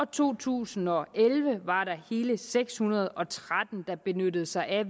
to tusind og elleve var der hele seks hundrede og tretten der benyttede sig af